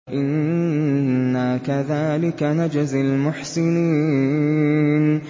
إِنَّا كَذَٰلِكَ نَجْزِي الْمُحْسِنِينَ